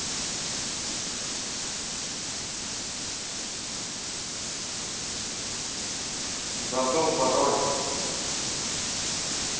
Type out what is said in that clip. забыл пароль